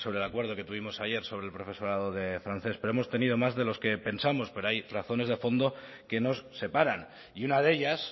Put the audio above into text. el acuerdo que tuvimos ayer sobre el profesorado de francés pero hemos tenido más de los que pensamos pero hay razones de fondo que nos separan y una de ellas